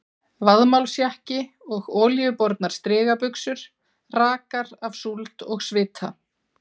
Vaðmálsjakki og olíubornar strigabuxur rakar af súld og svita.